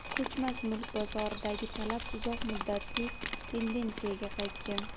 ko‘chmas mulk bozoridagi talab uzoq muddatli tendensiyaga qaytgan.